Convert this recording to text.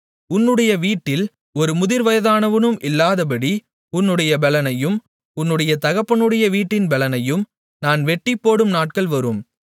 உன்னுடைய வீட்டில் ஒரு முதிர்வயதானவனும் இல்லாதபடி உன்னுடைய பெலனையும் உன்னுடைய தகப்பனுடைய வீட்டின் பெலனையும் நான் வெட்டிப்போடும் நாட்கள் வரும்